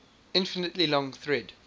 infinitely long thread